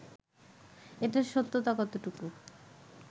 এটার সত্যতা কতটুকু